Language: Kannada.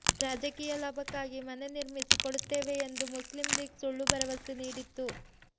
ರಾಜಕೀಯ ಲಾಭಕ್ಕಾಗಿ ಮನೆ ನಿರ್ಮಿಸಿ ಕೊಡುತ್ತೇವೆ ಎಂದು ಮುಸ್ಲಿಂ ಲೀಗ್ ಸುಳ್ಳು ಭರವಸೆ ನೀಡಿತ್ತು